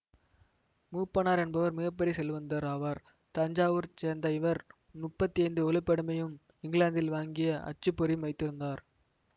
மூப்பனார் என்பவர் மிக பெரிய செல்வந்தர் ஆவார் தஞ்சாவூர் சேர்ந்த இவர் முப்பத்தி ஐந்து ஒளிப்படமியும் இங்கிலாந்தில் வாங்கிய அச்சு பொறியும் வைத்திருந்தார்